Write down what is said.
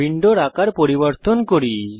উইন্ডোর আকার পরিবর্তন করি